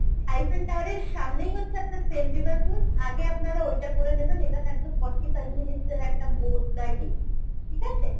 Eiffel Tower এর সামনেই হচ্ছে আপনার seine river cruise আগে আপনারা ওইটা করে নেবেন এটা থাকবে ফোরটি ফাইভ minutes এর একটা boat riding ঠিক আছে?